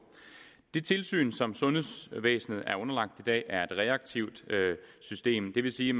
det tilsyn som sundhedsvæsenet er underlagt i dag er et reaktivt system og det vil sige